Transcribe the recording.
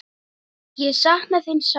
Ég sakna þín sárt.